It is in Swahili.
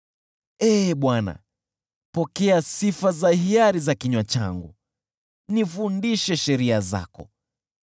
Ee Bwana , pokea sifa za hiari za kinywa changu, nifundishe sheria zako.